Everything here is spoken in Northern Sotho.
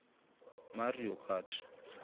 mario kart